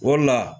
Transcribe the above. Wala